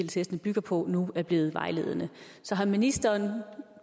testene bygger på nu er blevet vejledende så har ministeren